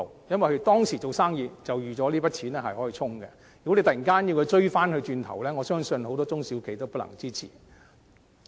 因為當時已預計那筆錢可用作對沖，突然間向他們追討，我相信很多中小企都不能支持。